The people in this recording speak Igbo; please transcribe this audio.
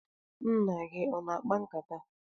Nna gị ọ na-akpa nkata?